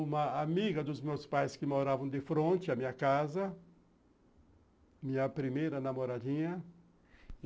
Uma amiga dos meus pais que moravam de fronte à minha casa, minha primeira namoradinha.